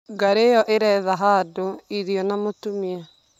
Ngarĩ ĩyo ĩretha handũ, irio na mũtumia.